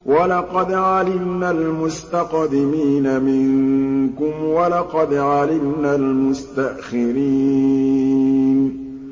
وَلَقَدْ عَلِمْنَا الْمُسْتَقْدِمِينَ مِنكُمْ وَلَقَدْ عَلِمْنَا الْمُسْتَأْخِرِينَ